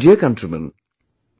My dear countrymen,